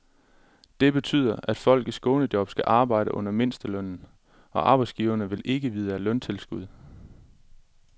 Det betyder, at folk i skånejob skal arbejde under mindstelønnen, og arbejdsgiverne vil ikke vide af løntilskud.